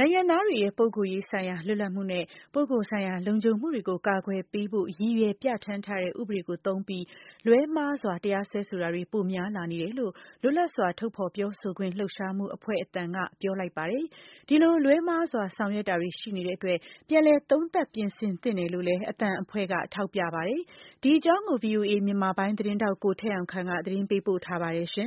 နိုင်ငံသားတွေရဲ့ ပုဂ္ဂိုလ်ရေးဆိုင်ရာ လွတ်လပ်မှုနဲ့ ပုဂ္ဂိုလ်ဆိုင်ရာ လုံခြုံမှုတွေကို ကာကွယ်ပေးဖို့ ရည်ရွယ်ပြဌာန်းထားတဲ့ ဥပဒေကိုသုံးပြီး လွဲမှားစွာ တရားစွဲဆိုတာတွေ ပိုများလာနေတယ်လို့ လွတ်လပ်စွာ ထုတ်ဖော်ပြောဆိုခွင့်လှုပ်ရှားမှုအဖွဲ့ အသံက ပြောဆိုလိုက်ပါတယ်။ ဒီလိုလွဲမှားစွာ ဆောင်ရွက်တာတွေ ရှိနေတဲ့အတွက် ပြန်လည် သုံးသပ် ပြင်ဆင်သင့်တယ်လို့လည်း အသံအဖွဲ့က ထောက်ပြပါတယ်။ ဒီအကြောင်းကို ဗွီအိုအေ မြန်မာပိုင်းသတင်းထောက် ကိုထက်အောင်ခန့်က သတင်းပေးပို့ထားပါတယ်။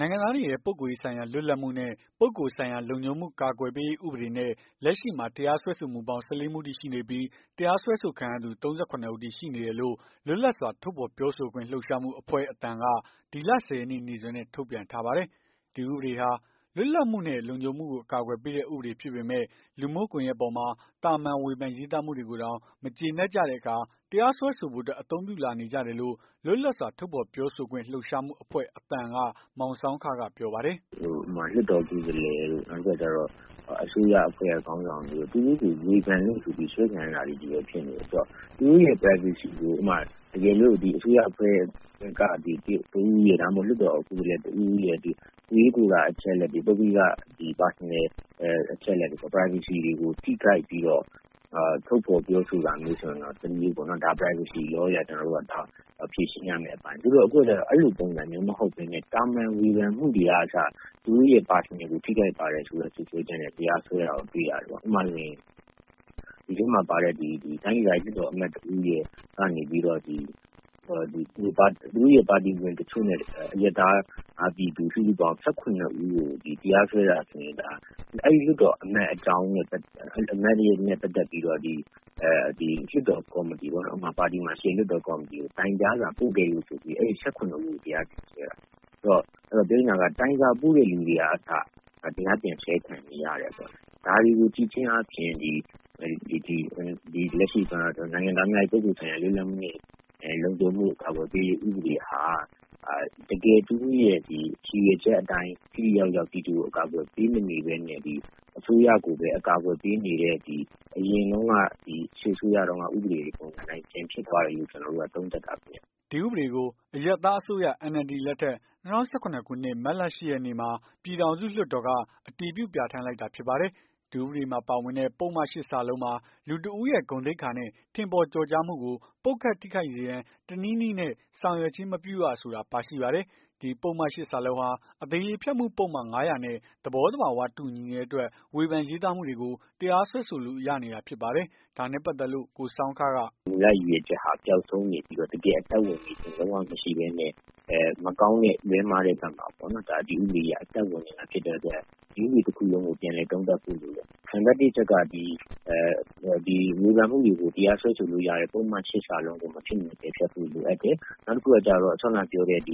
နိုင်ငံသားတွေရဲ့ ပုဂ္ဂိုလ်ရေးဆိုင်ရာ လွတ်လပ်မှုနဲ့ ပုဂ္ဂိုလ်ဆိုင်ရာ လုံခြုံမှု ကာကွယ်ပေးရေး ဥပဒေနဲ့ လက်ရှိမှာ တရား စွဲဆိုမှုပေါင်း ၁၄ မှုအထိ ရှိနေပြီး တရားစွဲဆိုခံရသူ ၃၇ ဦးအထိ ရှိတယ်လို့ လွတ်လပ်စွာ ထုတ်ဖော်ပြောဆိုခွင့်လှုပ်ရှားမှုအဖွဲ့ အသံ က ဒီလ ၁၀ ရက်နေ့ နေ့စွဲနဲ့ ထုတ်ပြန်ထားပါတယ်။ ဒီဥပဒေဟာ လွတ်လပ်မှုနဲ့ လုံခြုံမှုကို အကာကွယ် ပေးတဲ့ ဥပဒေဖြစ်ပေမယ့် လူမှုကွန်ယက်ပေါ်မှာ သာမန် ဝေဖန်ရေးသားမှုတွေကိုတောင် မကျေနပ်ကြတဲ့အခါ တရားစွဲဆိုဖို့အတွက် အသုံးပြုလာနေကြတယ်လို့ လွတ်လပ်စွာ ထုတ်ဖော်ပြောဆိုခွင့် လှုပ်ရှားမှုအဖွဲ့ အသံအဖွဲ့က မောင်ဆောင်းခက ပြောပါတယ်။ "အမှုတွေက လွှတ်တော်ကိုယ်စားလှယ်တို့ အစိုးရအဖွဲ့က ခေါင်းဆောင်တွေတို့ သူတို့ကိုဝေဖန်လို့ဆိုပြီး အစွဲခံရတာတွေပဲဖြစ်နေတယ်။ သူတို့ရဲ့ ပုဂ္ဂိုလ်ရေးကို အစိုးရအဖွဲ့က တစ်ဦးဦးရဲ့ ဒါမှမဟုတ် လွှတ်တော် ကိုယ်စားလှယ် တဦးဦးရဲ့ ကိုယ်ရေးကိုယ်တာ အချက်အလက် ပုဂ္ဂလိက Personal အချက်အလက်တွေကို ထိခိုက်ပြီးတော့ ထုတ်ဖော်ပြောဆိုတာမျိုးဆိုရင်တော့ တမျိုးပေါ့။ ဒါကို Privacy Law အရ ဖြေရှင်းရမယ့် အပိုင်း။ သူတို့က အခုကျတော့ အဲ့လိုပုံစံမျိုးမဟုတ်ပဲနဲ့ သာမန်ဝေဖန်မှုတွေကအစ သူတို့ရဲ့ Personal ကို ထိခိုက်ပါတယ်ဆိုပြီး စွပ်စွဲချက်နဲ့ တရားစွဲတာကိုတွေ့ရတယ်။ ဥပမာဆိုရင် တိုင်းဒေသကြီး လွှတ်တော် ကိုယ်စားလှယ် တဦးကနေပြီးတော့ သူတို့ရဲ့ ပါတီဝင်တချို့နဲ့ အရပ်သား ပြည်သူ စုစုပေါင်း ၁၇ ဦးကို တရားစွဲတာဆိုရင် အဲ့လွှတ်တော်အမတ်အကြောင်းနဲ့ပတ်သက်ပြီး လွှတ်တော်ကော်မတီပေါ့နော်။ ပါတီမှာ ရှိတဲ့ လွှတ်တော်ကော်မတီကို တိုင်ကြားစာပို့ခဲ့လို့ဆိုပြီး အဲ့ ၁၇ ဦးကို တရားစွဲတာ ဆိုလိုတာက တိုင်စာပို့တဲ့လူတွေ ကအစ တရားပြန်စွဲခံနေရတယ်။ ဒါတွေကိုကြည့်ချင်းအားဖြင့် ဒီလက်ရှိ နိုင်ငံသားများ၏ ပုဂ္ဂိုလ်ဆိုင်ရာ လွတ်လပ်မှုနဲ့ လုံခြုံမှုကို အကာအကွယ်ပေးရေး ဥပဒေဟာ တကယ်သူတို့ရဲ့ ရည်ရွယ်ချက်အတိုင်း ထိထိရောက်ရောက် ပြည်သူကို အကာကွယ်ပေးမနေဘဲနဲ့ အစိုးရကိုပဲ အကာကွယ်ပေးနေတဲ့ ဒီအရင်စစ်အစိုးရတုန်းက ဥပဒေအတိုင်း ပြန်ဖြစ်သွားတယ်လို့ ကျွန်တော်တို့က သုံးသပ်တာခင်ဗျ။" ဒီဥပဒေကို အရပ်သားအစိုးရ NLD လက်ထက် ၂၀၁၇ ခုနှစ် မတ်လ ၈ ရက်မှာ ပြည်ထောင်စု လွှတ်တော်က အတည်ပြုပြဌာန်းလိုက်တာဖြစ်ပါတယ်။ ဒီဥပဒေမှာပါဝင်တဲ့ ပုဒ်မ ၈ မှာ လူတစ်ဦးရဲ့ ဂုဏ်သိက္ခာနဲ့ ထင်ပေါ် ကျော်ကြားမှုကို ပုတ်ခတ် ထိခိုက်စေရန် တနည်းနည်းနဲ့ ဆောင်ရွက်ခြင်းမပြုရ ဆိုတာ ပါရှိပါတယ်။ ဒီပုဒ်မ ၈ ဟာ အသရေဖျက်မှု ပုဒ်မ ၅၀၀ နဲ့ သဘော သဘာ၀ တူညီနေတဲ့အတွက် ဝေဖန်ရေးသားမှု တွေကို တရားစွဲဆိုလို့ရနေတာဖြစ်ပါတယ်။ ဒါနဲ့ပတ်သက်လို့ ကိုဆောင်းခက "မူလရည်ရွယ်ချက်က ပျောက်ဆုံးနေပြီး တကယ်အသက်ဝင်ခြင်း လုံးဝမရှိဘဲနဲ့ မကောင်းတဲ့ လွဲမှားတဲ့ဘက်မှာ ဒီဥပဒေကြီးက အသက်ဝင်နေတာ ဖြစ်တဲ့အတွက် ဒီဥပဒေတခုလုံးကို ပြန်လည်သုံးသပ်ဖို့လိုတယ်။ နံပတ် ၁ အချက်က ဝေဖန်မှုတွေကို တရားစွဲဆိုလို့ရတဲ့ ပုဒ်မ ၈ တို့ကို မဖြစ်မနေ ပယ်ဖျက်ဖို့ လိုအပ်တယ်။ နောက်တခုက စောနကပြောတဲ့ တ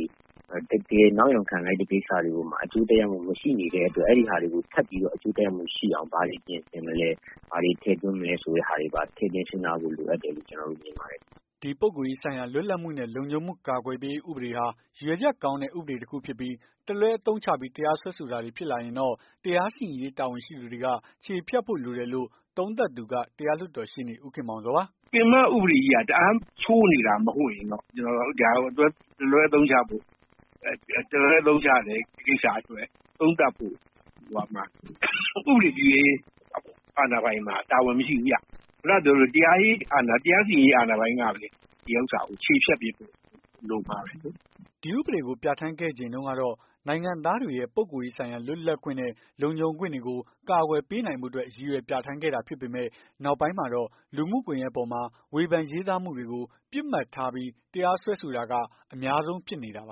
ကယ်နောက်ယောင်ခံလိုက်တဲ့ ကိစ္စတွေမှာ အကျိုးသက်ရောက်မှု မရှိနေတဲ့ အတွက် အဲ့ဒီဟာတွေကို ထပ်ပြီး အကျိုးသက်ရောက်မှုရှိအောင် ဘာတွေပြင်ဆင်မလည်း ဘာတွေ ထည့်သွင်း မလည်းဆိုတာတွေကို ထည့်သွင်းစဉ်းစားဖို့ လိုအပ်တယ်။" ဒီပုဂ္ဂိုလ်ရေးဆိုင်ရာ လွတ်လပ်မှုနဲ့ လုံခြုံမှု ကာကွယ်ပေးရေး ဥပဒေဟာ ရည်ရွယ်ချက်ကောင်းတဲ့ ဥပဒေ တခုဖြစ်ပြီး တလွဲအသုံးချပြီး တရားစွဲဆိုတာတွေ ဖြစ်လာရင်တော့ တရားစီရင်ရေး တာဝန်ရှိသူတွေက ချေဖျက်ဖို့ လိုတယ်လို့ သုံးသပ်သူက တရားလွှတ်တော် ရှေ့နေ ဦးခင်မောင်ဇော်ပါ။ " ပင်မဥပဒေကြီးက တအားဆိုးနေတာ မဟုတ်ရင်တော့ ဒါကို တလွဲအသုံးချတဲ့ ကိစ္စအတွက် ဥပဒေပြုရေး အာဏာပိုင်မှာ တာဝန်မရှိဘူးခင်ဗျ။ တရားရေး တရားစီရင်ရေး အာဏာပိုင်ကပဲ ချေဖျက်ပေးဖို့ လိုမှာပဲလေ။ " ဒီဥပဒေကို ပြဌာန်းခဲ့ ချိန်တုန်းကတော့ နိုင်ငံသားတွေရဲ့ ပုဂ္ဂိုလ်ရေးဆိုင်ရာ လွတ်လပ်ခွင့်နဲ့ လုံခြုံခွင့်တွေကို ကာကွယ်ပေးနိုင်ဖို့အတွက် ရည်ရွယ် ပြဌာန်းခဲ့တာဖြစ်ပေမဲ့ နောက်ပိုင်းမှာတော့ လူမှုကွန်ယက်ပေါ်မှာ ဝေဖန်ရေးသားမှုတွေ ပစ်မှတ်ထားပြီး တရားစွဲဆိုတာက အများဆုံးဖြစ်နေတာပါ